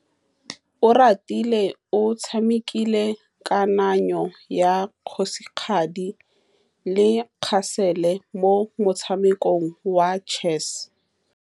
Oratile o tshamekile kananyô ya kgosigadi le khasêlê mo motshamekong wa chess.